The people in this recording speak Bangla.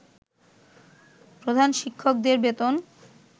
প্রধান শিক্ষকদের বেতন